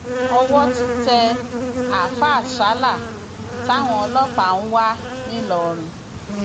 owó ti tẹ àáfáà sala táwọn ọlọpàá ń wá ńìlọrin